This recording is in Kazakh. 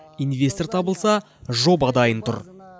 инвестор табылса жоба дайын тұр